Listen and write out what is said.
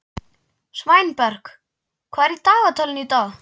Sveinberg, hvað er í dagatalinu í dag?